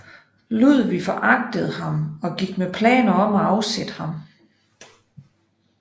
Ludvig foragtede ham og gik med planer om at afsætte ham